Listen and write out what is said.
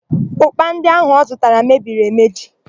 Ụ́kpà ndị áhụ̀ ọ zụtara mebiri emedi.